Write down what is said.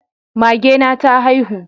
Mage na ta haihu